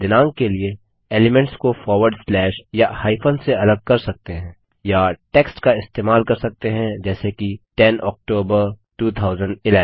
आप दिनांक के एलिमेंट्स को फॉरवर्ड स्लैश या हाइफन से अलग कर सकते हैं या टेक्स्ट का इस्तेमाल कर सकते हैं जैसे कि 10 ऑक्टोबर 2011